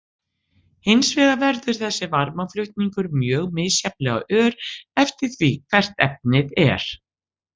Hins vegar verður þessi varmaflutningur mjög misjafnlega ör eftir því hvert efnið er.